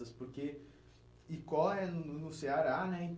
Porque Icó é no no Ceará, né?